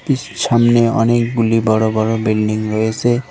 সামনে অনেকগুলি বড় বড় বিল্ডিং রয়েছে।